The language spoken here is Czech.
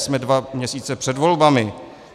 Jsme dva měsíce před volbami.